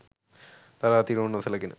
තරාතිරම නොසැලකෙන